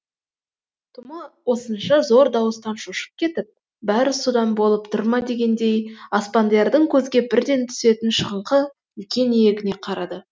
тома осынша зор дауыстан шошып кетіп бәрі содан болып тұр ма дегендей аспандиярдың көзге бірден түсетін шығыңқы үлкен иегіне қарады